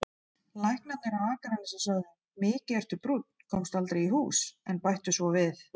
Læknarnir á Akranesi sögðu: Mikið ertu brúnn, komstu aldrei í hús, en bættu svo við